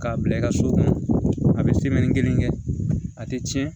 K'a bila i ka so kɔnɔ a bɛ kelen kɛ a tɛ tiɲɛ